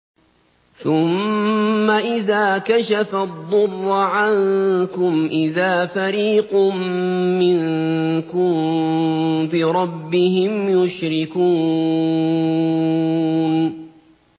ثُمَّ إِذَا كَشَفَ الضُّرَّ عَنكُمْ إِذَا فَرِيقٌ مِّنكُم بِرَبِّهِمْ يُشْرِكُونَ